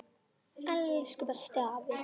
Elsku bestu afi.